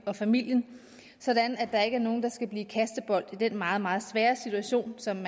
og familien så der ikke er nogen der skal blive kastebold i den meget meget svære situation som